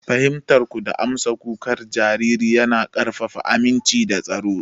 Fahimtar ku da amsa kukan jariri yana ƙarfafa aminci da tsaro.